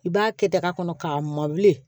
I b'a kɛ daga kɔnɔ k'a mɔbili